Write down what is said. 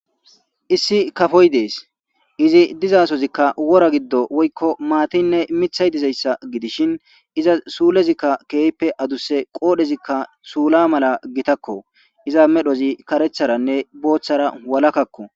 issi kafoy dees izi dizasozikka wora giddo woykko maatinne mithay dizayssa gidishin iza suulezikka keeyppe aduse qoodhezikka suula mala gitakko iza medhozi karetharanne booththara walakakko